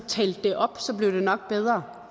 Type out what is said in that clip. talte det op så blev det nok bedre